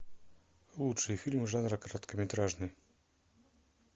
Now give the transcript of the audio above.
лучшие фильмы жанра короткометражный